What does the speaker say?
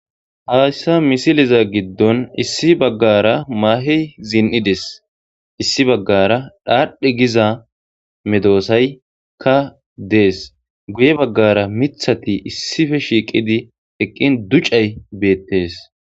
Haassa misiliza giddon issi baggara maahey zin7ides issi baggara dhaadhe giza medoosaykka dees guye baggara mithati issife shiiqidi eqqin ducay beettees.